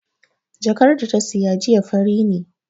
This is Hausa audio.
Jakar da ta saya jiya fari ne